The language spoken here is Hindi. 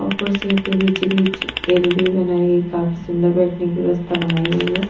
और कुरसियों के बीच-बीच टेबल भी बनाई गई काफी सुंदर बैठने की व्यवस्था बनाई गई है।